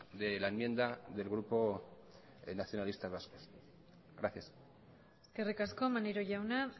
de la enmienda del grupo nacionalistas vascos gracias eskerrik asko maneiro jauna